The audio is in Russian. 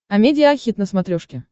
амедиа хит на смотрешке